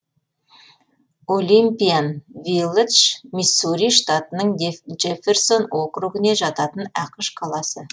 олимпиан вилладж миссури штатының джефферсон округіне жататын ақш қаласы